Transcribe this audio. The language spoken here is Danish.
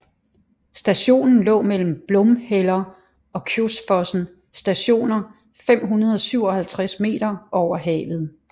Stationen lå mellem Blomheller og Kjosfossen Stationer 557 meter over havet